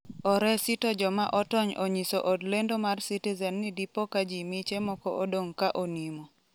oresi to joma otony onyiso od lendo mar Citizen ni dipoka jii miche moko odong' ka onimo